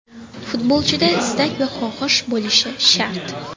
Futbolchida istak va xohish bo‘lishi shart.